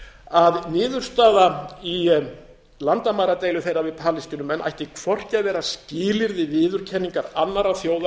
að niðurstaða í landamæradeilu þeirra við palestínumenn ætti hvorki að vera skilyrði viðurkenningar annarra þjóða á